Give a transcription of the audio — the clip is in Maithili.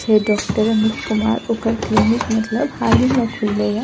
छै डॉक्टर अमित कुमार ओकर क्लिनिक मतलब हाल ही में खुले या।